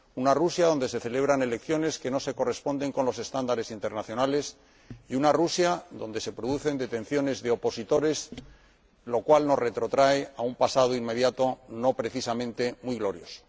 Una Rusia en la que se celebran elecciones que no se corresponden con los estándares internacionales, y una Rusia en la que se producen detenciones de opositores, lo cual nos retrotrae a un pasado inmediato no precisamente muy glorioso.